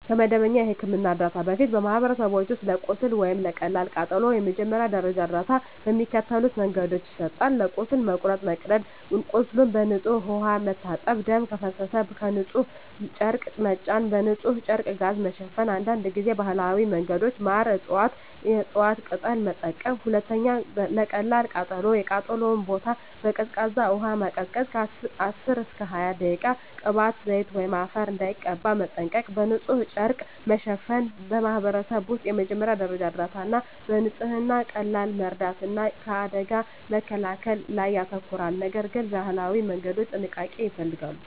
ከመደበኛ የሕክምና እርዳታ በፊት፣ በማኅበረሰቦች ውስጥ ለቁስል ወይም ለቀላል ቃጠሎ የመጀመሪያ ደረጃ እርዳታ በሚከተሉት መንገዶች ይሰጣል፦ ለቁስል (መቁረጥ፣ መቀደድ) ቁስሉን በንጹሕ ውሃ መታጠብ ደም ከፈሰሰ በንጹሕ ጨርቅ መጫን በንጹሕ ጨርቅ/ጋዝ መሸፈን አንዳንድ ጊዜ ባህላዊ መንገዶች (ማር፣ የእፅዋት ቅጠል) መጠቀም 2. ለቀላል ቃጠሎ የተቃጠለውን ቦታ በቀዝቃዛ ውሃ ማቀዝቀዝ (10–20 ደቂቃ) ቅባት፣ ዘይት ወይም አፈር እንዳይቀባ መጠንቀቅ በንጹሕ ጨርቅ ቀለል ማሸፈን በማኅበረሰብ ውስጥ የመጀመሪያ ደረጃ እርዳታ በንጽህና፣ በቀላል መርዳት እና ከአደጋ መከላከል ላይ ያተኮራል፤ ነገር ግን የባህላዊ መንገዶች ጥንቃቄ ይፈልጋሉ።